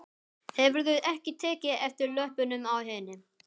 Hefurðu ekki tekið eftir löppunum á henni?